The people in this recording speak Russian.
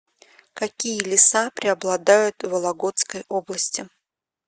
какие леса преобладают в вологодской области